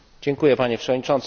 Panie Przewodniczący!